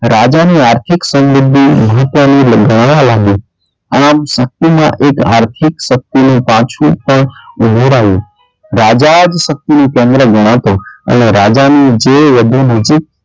રાજાની આર્થિક સમૃદ્ધિ અને આમ શક્તિમાં એક આર્થિક શક્તિનું પાસું પણ ઉમેરાયું રાજા જ શક્તિનું કેન્દ્ર ગણાતો અને રાજા જે વચન ઉચિત,